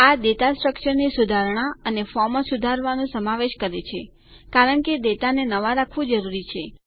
આ data structure ની સુધારણાં અને ફોર્મો સુધારવાનું સમાવેશ કરે છે કારણ કે ડેટાને નવા રાખવું જરૂરી છે